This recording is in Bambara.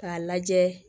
K'a lajɛ